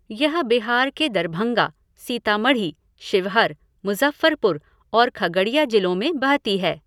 यह बिहार के दरभंगा, सीतामढ़ी, शिवहर, मुज़फ़्फ़रपुर और खगड़िया जिलों में बहती है।